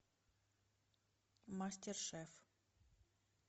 мастер шеф